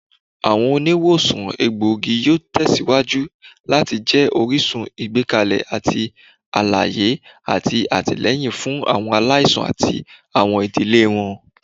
Awọn oniwosan elegbogi yoo tẹsiwaju lati jẹ orisun igbẹkẹle ti alaye ati atilẹyin fun awọn alaisan ati awọn idile wọn.